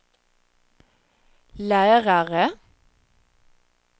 lärare